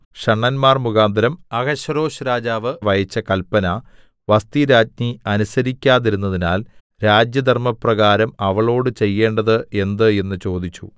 ഷണ്ഡന്മാർമുഖാന്തരം Ahasuerus രാജാവ് അയച്ച കല്പന വസ്ഥിരാജ്ഞി അനുസരിക്കാതിരുന്നതിനാൽ രാജ്യധർമ്മപ്രകാരം അവളോട് ചെയ്യേണ്ടത് എന്ത് എന്ന് ചോദിച്ചു